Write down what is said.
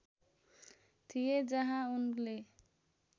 थिए जहाँ उनले